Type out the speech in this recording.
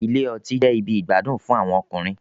Ilé ọtí jẹ ibì igbadun fún àwọn ọkùnrin